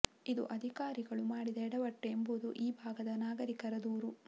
ಇದು ಅಧಿಕಾರಿಗಳು ಮಾಡಿದ ಎಡವಟ್ಟು ಎಂಬುದು ಈ ಭಾಗದ ನಾಗರಿಕರ ದೂರು